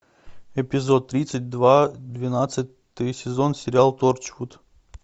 эпизод тридцать два двенадцатый сезон сериал торчвуд